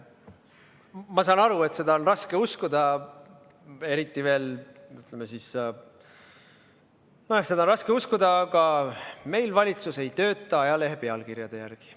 Ma saan aru, et seda on raske uskuda, aga meil valitsus ei tööta ajalehe pealkirjade järgi.